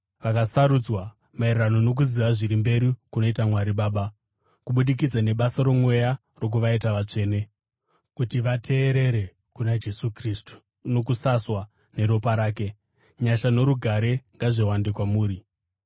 vakasarudzwa maererano nokuziva zviri mberi kunoita Mwari Baba, kubudikidza nebasa roMweya rokuvaita vatsvene, kuti vateerere kuna Jesu Kristu nokusaswa neropa rake: Nyasha norugare ngazviwande kwamuri.